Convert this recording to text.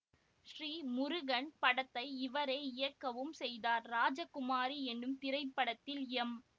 ஸ்ரீ முருகன் படத்தை இவரே இயக்கவும் செய்தார் ராஜகுமாரி என்னும் திரைப்படத்தில் எம்